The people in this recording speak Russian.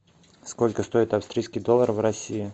сколько стоит австрийский доллар в россии